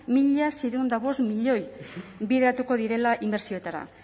mila seiehun eta bost milioi bideratuko direla inbertsioetara